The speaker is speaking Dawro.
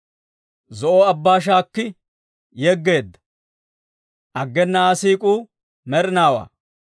Zo'o Abbaa shaakki yegeedda; aggena Aa siik'uu med'inaawaa.